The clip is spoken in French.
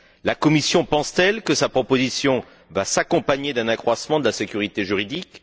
La Commission pense t elle que sa proposition va s'accompagner d'un accroissement de la sécurité juridique?